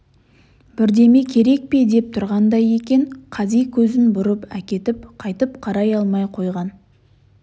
бірдеме керек пе деп тұрғандай екен қази көзін бұрып әкетіп қайтып қарай алмай қойған